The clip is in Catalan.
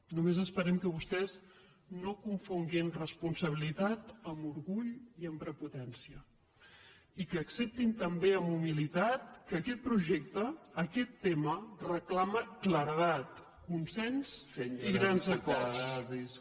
només esperem que vostès no confonguin responsabilitat amb orgull i amb prepotència i que acceptin també amb humilitat que aquest projecte aquest tema reclama claredat consens i grans acords